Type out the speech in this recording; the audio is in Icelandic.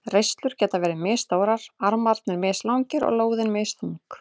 Reislur geta verið misstórar, armarnir mislangir og lóðin misþung.